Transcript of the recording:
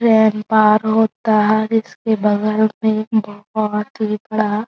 train पार होता है इसके बगल में एक बहुत ही बड़ा --